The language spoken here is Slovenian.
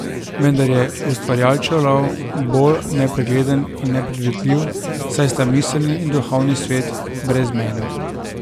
Vendar je ustvarjalčev lov bolj nepregleden in nepredvidljiv, saj sta miselni in duhovni svet brezmejna.